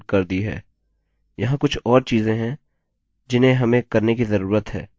दूसरे if statement को undo करें या इस if स्टेटमेंट को undo करें